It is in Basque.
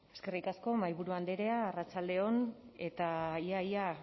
eskerrik asko mahaiburu andrea arratsalde on eta ia ia